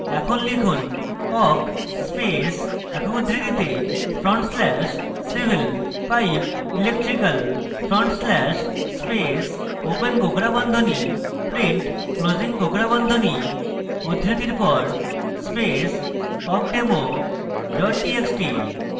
এখন লিখুন awk space একক উদ্ধৃতিতে front slash civil pipe electrical front slash space open কোঁকড়া বন্ধনী print closing কোঁকড়া বন্ধনী উদ্ধৃতির পর space awkdemo txt txt